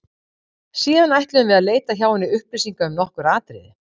Síðan ætluðum við að leita hjá henni upplýsinga um nokkur atriði.